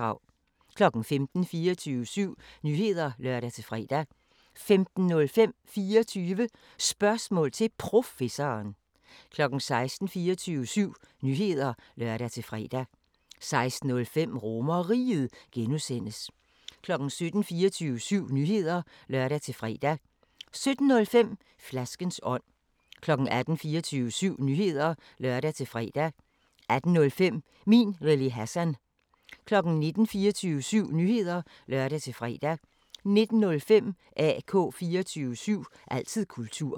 15:00: 24syv Nyheder (lør-fre) 15:05: 24 Spørgsmål til Professoren 16:00: 24syv Nyheder (lør-fre) 16:05: RomerRiget (G) 17:00: 24syv Nyheder (lør-fre) 17:05: Flaskens ånd 18:00: 24syv Nyheder (lør-fre) 18:05: Min Lille Hassan 19:00: 24syv Nyheder (lør-fre) 19:05: AK 24syv – altid kultur